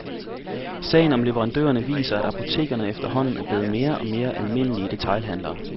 Sagen om leverandørerne viser, at apotekerne efterhånden er blevet mere og mere almindelige detailhandlere.